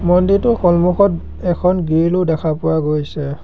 মন্দিৰটোৰ সন্মুখত এখন গ্ৰীলো দেখা পোৱা গৈছে।